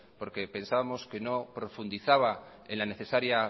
porque pensábamos que no profundizaba en la necesaria